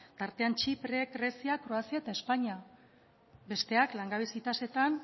tartean txipre grezia kroazia eta espainia besteak langabezi tasetan